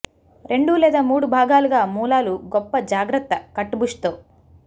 రెండు లేదా మూడు భాగాలుగా మూలాలు గొప్ప జాగ్రత్త కట్ బుష్ తో